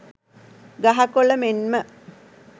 ගහ කොළ මෙන්ම